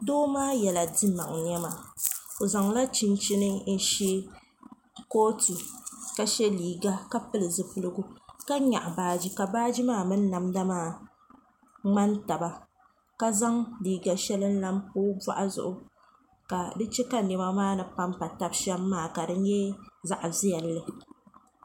Doo maa yiɛla simaŋa nɛma o zaŋ la chinchini n shɛ kootu ka shɛ liiga ka pili zupiligu ka yɛɣi baaji ka baaji maa mini namda maa ŋmani taba ka zaŋ liiga shɛli n lan pa o bɔɣu zuɣu ka di chɛ ka nɛma maa ni.pampa taba shɛm maa ka di yɛ zaɣi viɛlli.